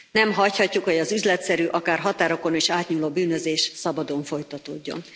Nem hagyhatjuk, hogy az üzletszerű, akár határokon is átnyúló bűnözés szabadon folytatódjon.